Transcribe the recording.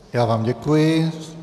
Já vám děkuji.